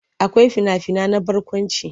Akwai fina-finai na barkwanci.